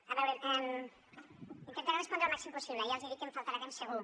a veure intentaré respondre al màxim possible ja els dic que em faltarà temps segur